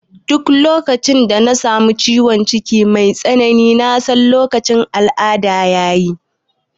Duk lokacin da na samu ciwon ciki mai tsanani na san lokacin al'ada ya yi